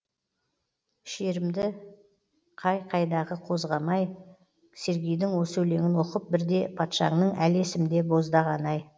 шерімді қай қайдағы қозғамағай сергейдің осы өлеңін оқып бірде патшаңның әлі есімде боздағаны ай